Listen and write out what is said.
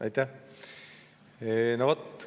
Aitäh!